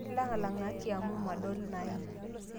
Lang'lang'aki amu madol naim